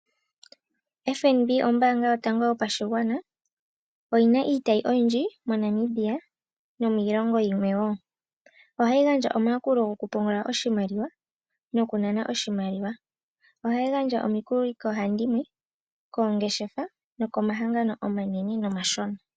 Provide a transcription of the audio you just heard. FNB ombaanga yotango yopashigwana yina iitayi oyindji moNamibia nomiilongo yilwe woo, ohayi gandja omayakulo gokupungula nokunana oshimaliwa, ohayi gandja woo omikuli koohandimwe, koongeshefa nokomahangano omanene nomashona.